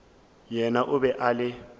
yena o be a le